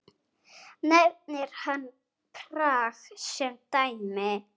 Nefnir hann Prag sem dæmi.